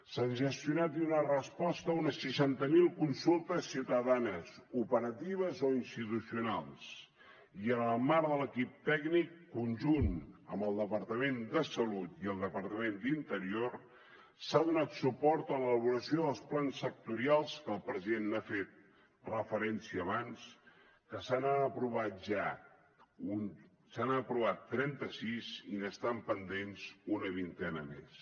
s’han gestionat i donat resposta a unes seixanta mil consultes ciutadanes operatives o institucionals i en el marc de l’equip tècnic conjunt amb el departament de salut i el departament d’interior s’ha donat suport a l’elaboració dels plans sectorials a què el president ha fet referència abans que se n’han aprovat ja se n’han aprovat trenta sis i n’estan pendents una vintena més